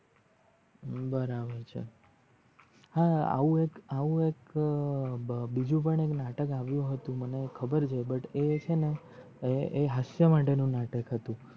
બરાબર છે. હા આવું એક આવું એક અ બીજું એક નાટક અવિયું હતું મને ખબર છે but એ છે ને એ એ હસીય માટે નું નાટક હતું